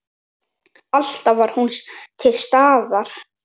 Alltaf var hún til staðar.